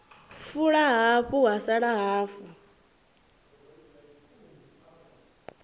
fula hafu ha sala hafu